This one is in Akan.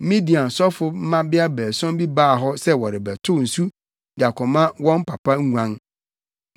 Midian sɔfo mmabea baason bi baa hɔ sɛ wɔrebɛtow nsu de akɔma wɔn papa nguan.